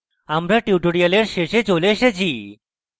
এর সাথেই আমরা এই tutorial শেষে চলে এসেছি